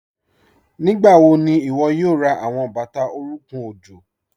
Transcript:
Nígbàwọ̀ ní iwó̩ yóò rá àwọn bátà orùnkùn ọ̀jọ̀?